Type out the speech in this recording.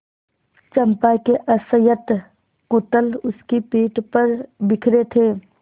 चंपा के असंयत कुंतल उसकी पीठ पर बिखरे थे